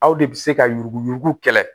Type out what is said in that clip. Aw de bɛ se ka yurugu yurugu kɛlɛ